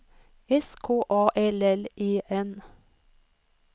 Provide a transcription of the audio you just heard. S K A L L E N